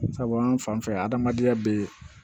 Sabu an fan fɛ yan adamadenya bɛ